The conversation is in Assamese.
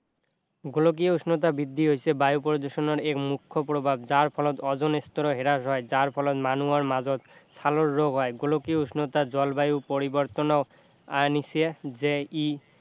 গোলকীয় উষ্ণতা বৃদ্ধি হৈছে বায়ু প্ৰদূষণৰ এক মুখ্য প্ৰভাৱ যাৰ ফলত অজন স্তৰো হ্ৰাস হয় যাৰ ফলত মানুহৰ মাজত ছালৰ ৰোগ হয় গোলকীয় উষ্ণতা জলবায়ু পৰিবৰ্তনৰ আনিছে যে ই